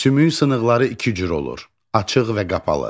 Sümük sınıqları iki cür olur: açıq və qapalı.